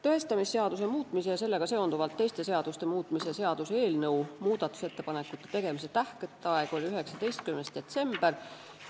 Tõestamisseaduse muutmise ja sellega seonduvalt teiste seaduste muutmise seaduse eelnõu muudatusettepanekute tegemise tähtaeg oli 19. detsembril.